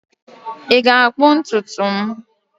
Ị ga-akpụ ntutu m?